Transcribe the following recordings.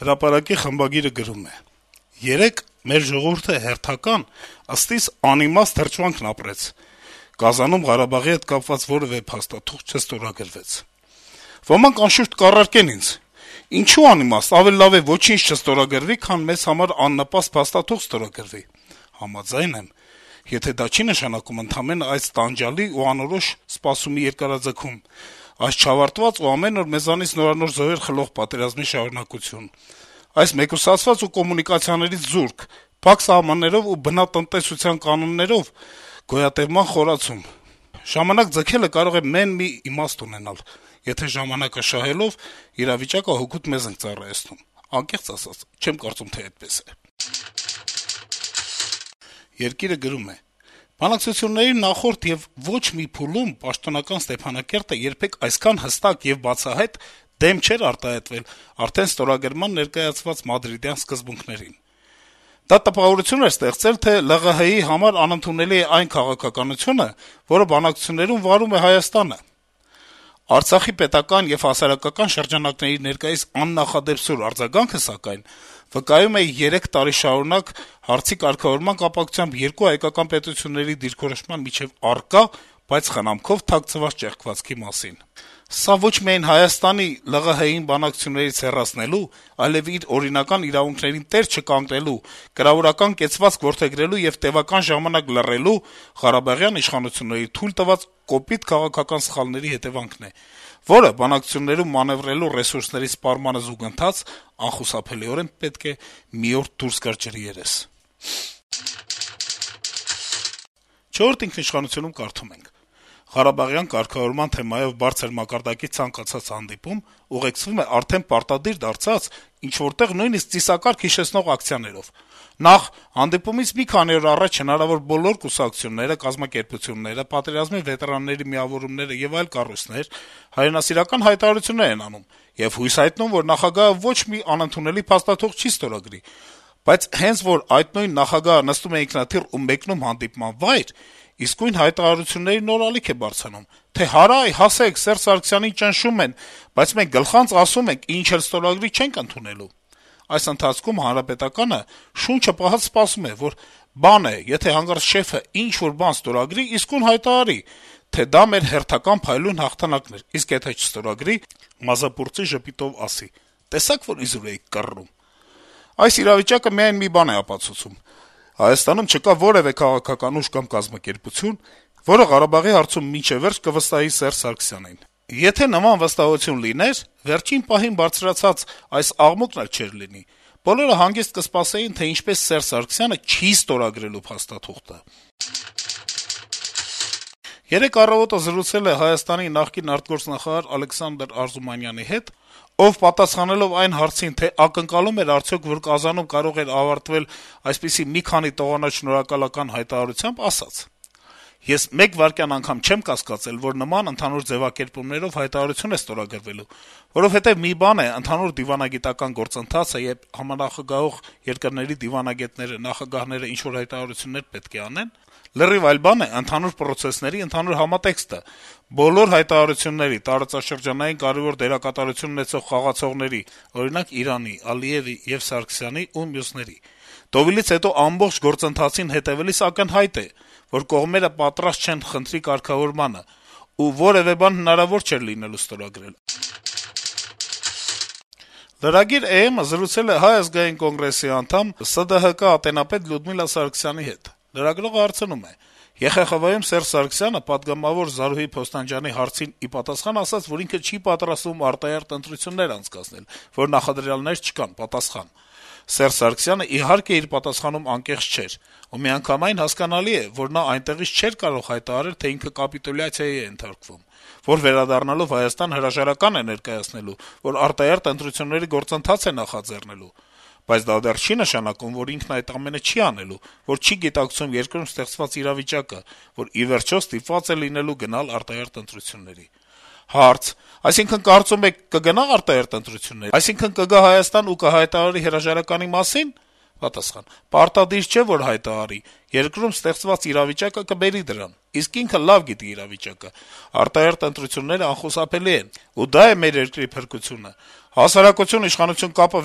«Հրապարակի» խմբագիրը գրում է. -« Երեկ մեր ժողովուրդը հերթական, ըստ իս, անիմաստ հրճվանքն ապրեց. Կազանում Ղարաբաղի հետ կապված որեւէ փաստաթուղթ չստորագրվեց: Ոմանք, անշուշտ, կառարկեն ինձ՝ ինչո՞ւ անիմաստ, ավելի լավ է ոչինչ չստորագրվի, քան մեզ համար աննպաստ փաստաթուղթ ստորագրվի: Համաձայն եմ՝ եթե դա չի նշանակում ընդամենը այս տանջալից ու անորոշ սպասումի երկարաձգում, այս չավարտված ու ամեն օր մեզնից նորանոր զոհեր խլող պատերազմի շարունակություն, այս մեկուսացված ու կոմունիկացիաներից զուրկ, փակ սահմաններով ու բնատնտեսության կանոններով գոյատեւման խորացում: Ժամանակ ձգելը կարող է մեն մի իմաստ ունենալ՝ եթե ժամանակ շահելով, իրավիճակը հօգուտ մեզ ենք ծառայեցնում: Անկեղծ ասած՝ չեմ կարծում, թե այդպես է»: «Երկիրը» գրում է. - «Բանակցությունների նախորդ եւ ոչ մի փուլում պաշտոնական Ստեփանակերտը երբեք այսքան հստակ եւ բացահայտ դեմ չէր արտահայտվել արդեն ստորագրման ներկայացված Մադրիդյան սկզբունքներին: Դա տպավորություն էր ստեղծել, թե ԼՂՀ-ի համար ընդունելի է այն քաղաքականությունը, որը բանակցություններում վարում է Հայաստանը: Արցախի պետական եւ հասարակական շրջանակների ներկայիս աննախադեպ սուր արձագանքը, սակայն, վկայում է երեք տարի շարունակ հարցի կարգավորման կապակցությամբ երկու հայկական պետությունների դիրքորոշումների միջեւ առկա, բայց խնամքով թաքցված ճեղքվածքի մասին: Սա ոչ միայն Հայաստանի՝ ԼՂՀ-ին բանակցություններից հեռացնելու, այլեւ իր օրինական իրավունքներին տեր չկանգնելու, կրավորական կեցվածք որդեգրելու և տևական ժամանակ լռելու` ղարաբաղյան իշխանությունների թույլ տված կոպիտ քաղաքական սխալների հետեւանքն է, որը բանակցություններում մանեւրելու ռեսուրսների սպառմանը զուգընթաց, անխուսափելիորեն պետք է մի օր դուրս գար ջրի երես»: «Չորրորդ ինքնիշխանությունում» կարդում ենք. - «Ղարաբաղյան թեմայով բարձր մակարդակի ցանկացած հանդիպում ուղեկցվում է արդեն պարտադիր դարձած, ինչ-որ տեղ` նույնիսկ ծիսակարգ հիշեցնող ակցիաներով: Նախ` հանդիպումից մի քանի օր առաջ հնարավո՞ր բոլոր կուսակցությունները, կազմակերպությունները, պատերազմի վետերանների միավորումներն ու այլ կառույցներ հայրենասիրական հայտարարություններ են անում եւ հույս հայտնում, որ նախագահը ոչ մի անընդունելի փաստաթուղթ չի ստորագրի, բայց հենց որ այդ նույն նախագահը նստում է ինքնաթիռ ու մեկնում հանդիպման վայր` իսկույն հայտարարությունների նոր ալիք է բարձրանում, թե հարայ, հասեք, Սերժ Սարգսյանին ճնշում են, բայց մենք «գլխանց» ասում ենք` ինչ էլ ստորագրի, չենք ընդունելու: Այդ ընթացքում ՀՀԿ-ն շունչը պահած սպասում է, որ բան է, եթե հանկարծ «շեֆն» ինչ-որ բան ստորագրի` իսկույն հայտարարի, թե դա մեր հերթական փայլուն հաղթանակն էր, իսկ եթե չստորագրի` մազապուրծի ժպիտով ասի «տեսա՞ք, որ իզուր էիք կռռում»: Այս իրավիճակը միայն մի բան է ապացուցում` Հայաստանում չկա որեւէ քաղաքական ուժ կամ կազմակերպություն, որը Ղարաբաղի հարցում մինչեւ վերջ կվստահի Սերժ Սարգսյանին: Եթե նման վստահություն լիներ, վերջին պահին բարձրացած այս աղմուկն էլ չէր լինի. Բոլորը հանգիստ կսպասեին, թե ինչպես Սերժ Սարգսյանը չի ստորագրելու փաստաթուղթը»: Երեկ «Առավոտը» զրուցել է Հայաստանի նախկին արտգործնախարար Ալեքսանդր Արզումանյանի հետ, ով պատասխանելով այն հարցին, թե ակնկալո՞ւմ էր, որ Կազանում բանակցությունները կարող էին ավարտվել այսպիսի` մի քանի տողանոց շնորհակալական հայտարարությամբ, ասել է. - «Ես մեկ վայրկյան չեմ կասկածել, որ նման ընդհանուր ձեւակերպումներով հայտարարություն է ստորագրվելու, որովհետեւ մի բան է` ընդհանուր դիվանագիտական գործընթացը, երբ համանախագահող երկրների դիվանագետները, նախագահները ինչ-որ հայտարարություններ պետք է անեն, լրիվ այլ բան է` ընթացող պրոցեսների ընդհանուր համատեքստը, բոլոր հայտարարությունների` տարածաշրջանային կարեւոր դերակատարություն ունեցող խաղացողների, օրինակ` Իրանի, Ալիեւի եւ Սարգսյանի ու մյուսների: Դովիլից հետո ամբողջ գործընթացին հետեւելիս ակնհայտ է, որ կողմերը պատրաստ չեն խնդրի կարգավորմանը, ու որեւէ բան հնարավոր չէր լինելու ստորագրել»: Lragir.am-ը զրուցել է Հայ ազգային կոնգրեսի անդամ, ՍԴՀԿ ատենապետ Լյուդմիլա Սարգսյանի հետ: Լրագրողը հարցնում է. - «ԵԽԽՎ-ում Սերժ Սարգսյանը Ժառանգություն խմբակցության պատգամավոր Զարուհի Փոստանջյանի հարցին ի պատասխան ասաց, որ ինքը չի պատրաստվում արտահերթ ընտրություններ անցկացնել, որ նախադրյալներ չկան»: Պատասխան. -« Սերժ Սարգսյանն, իհարկե, իր պատասխանում անկեղծ չէր: Ու միանգամայն հասկանալի է, որ նա այնտեղից չէր կարող հայտարարել, թե ինքը կապիտուլյացիայի է ենթարկվում, որ վերադառնալով Հայաստան, հրաժարական է ներկայացնելու, որ արտահերթ ընտրությունների գործընթաց է նախաձեռնելու: Բնական է, որ ԵԽԽՎ-ում նա այդ բանը չէր ասելու: Բայց դա դեռ չի նշանակում, որ ինքն այդ ամենը չի անելու, որ չի գիտակցում երկրում ստեղծված իրավիճակը, որ ի վերջո ստիպված է լինելու գնալ արտահերթ ընտրությունների»: Հարց. - «Այսինքն` կարծում եք կգնա՞ արտահերթ ընտրությունների: Այսինքն` կգա Հայաստան ու կհայտարարի հրաժարականի մասի՞ն»: Պատասխան. - «Պարտադիր չէ, որ հայտարարի… երկրում ստեղծված իրավիճակը կբերի դրան, իսկ ինքը լավ գիտի իրավիճակը: Արտահերթ ընտրություններն անխուսափելի են, ու դա է մեր երկրի փրկությունը: Հասարակություն-իշխանություն կապը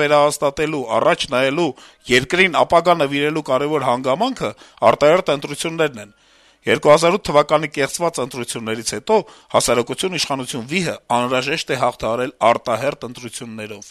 վերահաստատելու, առաջ նայելու, երկրին ապագա նվիրելու կարեւոր հանգամանքը արտահերթ ընտրություններն են: 2008 թ. կեղծված ընտրություններից հետո հասարակություն-իշխանություն վիհը անհրաժեշտ է հաղթահարել արտահերթ ընտրություններով»: